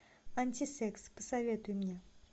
антисекс посоветуй мне